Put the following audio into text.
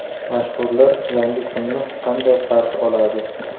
Mashhurlar yangi kunni qanday qarshi oladi?.